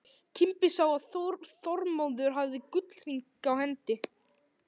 Kimbi sá að Þormóður hafði gullhring á hendi.